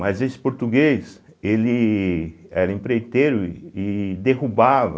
Mas esse português, ele era empreiteiro e derrubava